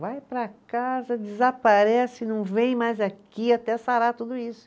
Vai para casa, desaparece, não vem mais aqui até sarar tudo isso.